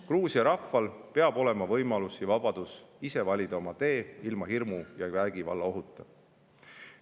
Gruusia rahval peab olema võimalus ja vabadus valida ise oma tee, ilma hirmu ja vägivallaohuta.